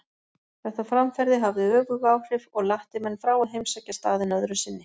Þetta framferði hafði öfug áhrif og latti menn frá að heimsækja staðinn öðru sinni.